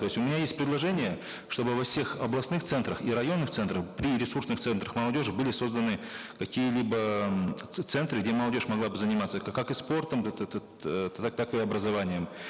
то есть у меня есть предложения чтобы во всех областных центрах и районных центрах при ресурсных центрах молодежи были созданы какие либо эээ центры где молодежь могла бы заниматься как и спортом так и образованием